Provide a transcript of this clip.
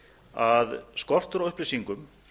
að skortur á upplýsingum